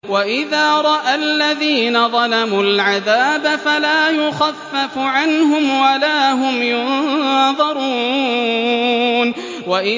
وَإِذَا رَأَى الَّذِينَ ظَلَمُوا الْعَذَابَ فَلَا يُخَفَّفُ عَنْهُمْ وَلَا هُمْ يُنظَرُونَ